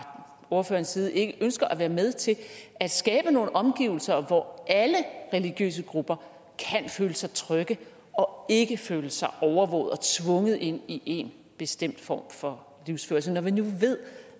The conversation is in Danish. ordførerens side ikke ønsker at være med til at skabe nogle omgivelser hvor alle religiøse grupper kan føle sig trygge og ikke føle sig overvåget og tvunget ind i en bestemt form for livsførelse når vi nu ved